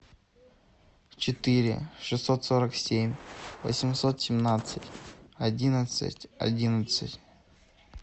четыре шестьсот сорок семь восемьсот семнадцать одиннадцать одиннадцать